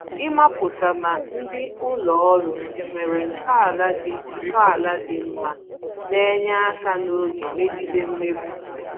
Ịmapụta ma ndị ụlọ ọrụ enwere ntọala dị ntọala dị mma na-enye aka n'oge migede mmegbu